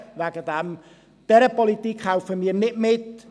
Bei dieser Politik helfen wir nicht mit.